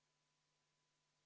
V a h e a e g